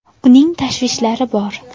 Uning tashvishlari bor.